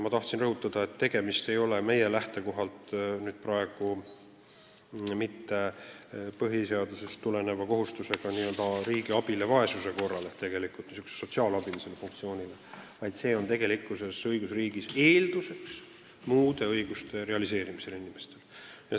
Ma tahan rõhutada, et tegemist ei ole meie lähtekohalt mitte põhiseadusest tuleneva kohustusega anda riigi abi vaesuse korral ehk siis sotsiaalabiga, see on õigusriigis lihtsalt eeldus inimeste muude õiguste realiseerimiseks.